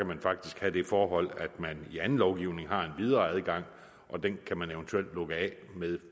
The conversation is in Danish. man faktisk have det forhold at man i anden lovgivning har en videre adgang og den kan man eventuelt lukke af med